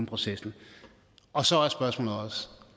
processen og så er spørgsmålet også